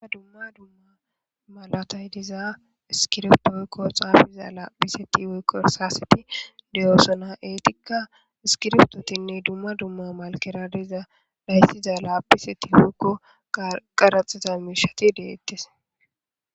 Aa dumma dumma malatay diza iskirftoykko xaafiza laaphiseti woykko saaseti deyoosona eetikka iskirftotinne dumma dumma malkera diza dhayssiza laaphiseti wouykko qaraxiza miishati deettes.